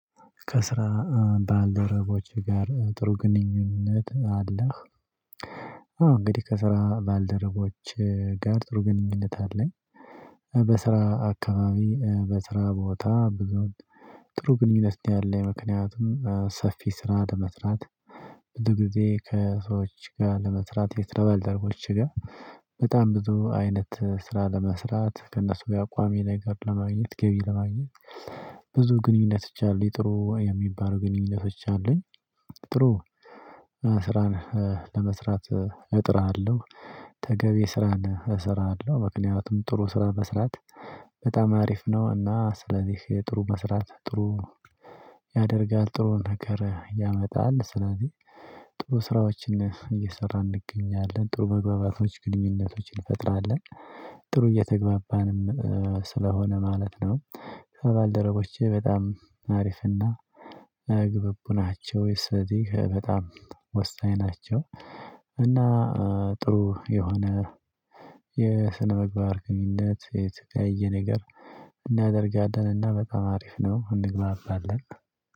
ከስራ ባልደረቦችህ ጋር ጥሩ ግንኙነት አለህ? አዎ እንግዲህ ከስራ ባልደረቦቼ ጋር ጥሩ ግንኙነት አለኝ። በስራ አካባቢ በስራ ቦታ ብዙ ጥሩ ግንኙነት አለ ምክንያቱም ሰፊ ስራ ለመስራት። ብዙ ጊዜ ከሰዎች ጋር ለመስራት የስራ ባልደረቦቼ ጋር በጣም ብዙ አይነት ስራ ለመስራት ከእነሱ ጋር ቋሚነገር ለማግኘት ገቢ ለማግኘት ብዙ ግንኙነቶች አሉ ጥሩ የሚባሉ ግንኙነቶች አሉኝ። ጥሩ ስራን ለመስራት እጥራለሁ ተገቢ ስራን እሰራለሁ ምክንያቱም ጥሩ ስራ መስራት በጣም አሪፍ ነው። እና ስለዚህ ጥሩ መስራት ጥሩ ያደርጋል ጥሩ ነገር ያመጣል ስለዚህ ጥሩ ስራዎችን እየሰራን እንገኛለን ጥሩ መግባባቶች ግንኙነቶችን እንፈጥራለን ጥሩ እየተግባባንም ስለሆነ ማለት ነው። ከባልደረቦቼ በጣም አሪፍና ግብቡ ናቸው እዚህ በጣም ወሳኝ ናቸው። እና ጥሩ የሆነ የስነምግባር ግንኙነት የተለያየ ነገር እናደርጋለን እና በጣም አሪፍ ነው እንግባባለን